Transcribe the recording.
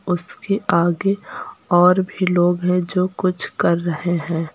और उसके आगे और भी लोग हैं जो कुछ कर रहे हैं।